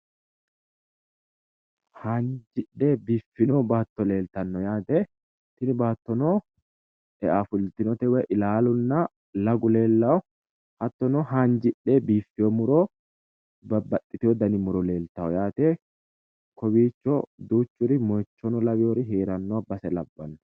Haanjidhe biiffino baatto leeltano yaate. Tini baattono eafultinote woyi ilaalunna lagu leellawo hattono haanjidhe biiffewo muro babbaxewo dani muro leeltawo yaate. Kowiicho duuchuri mooyiichono lawinori heeranno base labbanno.